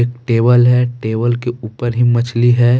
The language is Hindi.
टेबल है टेबल के ऊपर ही मछली है।